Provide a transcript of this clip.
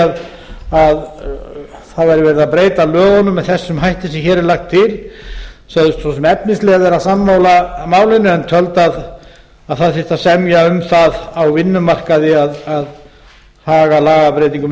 að það væri verið að breyta lögunum með þessum hætti sem hér er lagt til sögðust svo sem efnislega vera sammála málinu en töldu að það þyrfti að semja um það á vinnumarkaði að haga lagabreytingum með